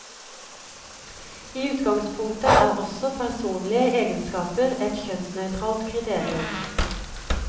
I utgangspunktet er også personlige egenskaper et kjønnsnøytralt kriterium.